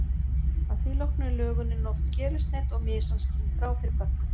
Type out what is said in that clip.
Að því loknu er lögunin oft gerilsneydd og mysan skilin frá fyrir pökkun.